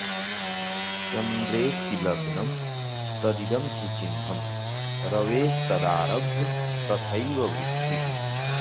चन्द्रेऽस्ति लग्नं तदिदं हि चिह्नं रवेस्तदारभ्य तथैव वृत्तिः